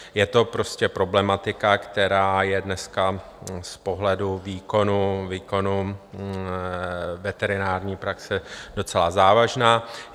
Je to prostě problematika, která je dneska z pohledu výkonu veterinární praxe docela závažná.